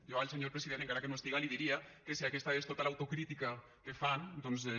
jo al senyor president encara que no estiga li diria que sí aquesta és tota l’autocrítica que fan doncs és